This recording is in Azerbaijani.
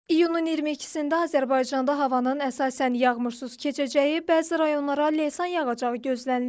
İyunun 22-də Azərbaycanda havanın əsasən yağmursuz keçəcəyi, bəzi rayonlara leysan yağacağı gözlənilir.